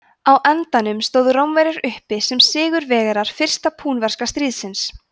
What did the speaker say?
á endanum stóðu rómverjar uppi sem sigurvegarar fyrsta púnverska stríðsins